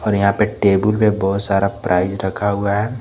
और यहां पे टेबुल पे बहोत सारा प्राइज रखा हुआ है।